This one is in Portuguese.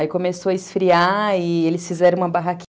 Aí começou a esfriar e eles fizeram uma barraquin